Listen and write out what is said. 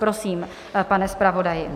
Prosím, pane zpravodaji.